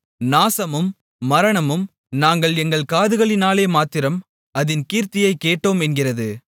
நாசமும் மரணமும் நாங்கள் எங்கள் காதுகளினாலேமாத்திரம் அதின் கீர்த்தியைக் கேட்டோம் என்கிறது